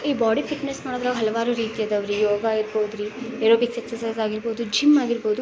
ಈ body fitness ಮಾಡುದ್ರಲ್ಲಿ ಹಲವಾರು ರೀತಿ ಇದ್ದಾವು ರೀ ಯೋಗ ಇರ್ಬಹುದು ರೀ ಏರೋಬಿಕ್ಸ್ ಎಸ್ಸ್ರ್ಚಿಸೆ ಇರ್ಬಹುದು ಜಿಮ್ ಆಗಿರ್ಬಹುದು--